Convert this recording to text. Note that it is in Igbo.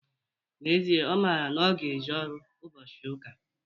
N'ezie, Ọ mara na ọ ga-eje ọrụ ụbọchị ụka.